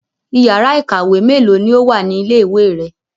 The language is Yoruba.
Ìyàrá-iìkàwé mélòó ni ó wà ní ilé-ìwé rẹ?